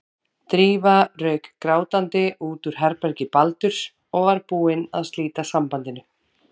Drífa rauk grátandi út úr herbergi Baldurs og var búin að slíta sambandinu.